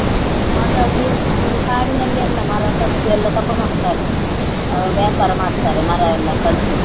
ಹಾಗಾಗಿ ಈಗ ಕಾಡಿನಲ್ಲಿ ಎಲ್ಲ ಮರ ಕಡ್ದು ಎಲ್ಲ ತಕೊಂಡು ಹೋಗ್ತಾರೆ ಆ ವ್ಯಾಪಾರ ಮಾಡ್ತಾರೆ ಮರ ಎಲ್ಲ ಕಡ್ದು.